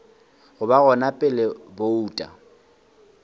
go ba gona pele bouto